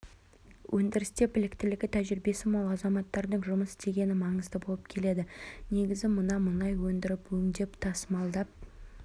өндірісте біліктілігі тәжірибесі мол азаматтардың жұмыс істегені маңызды болып келеді негізгі мына мұнай өндіріп өңдеп тасымалдап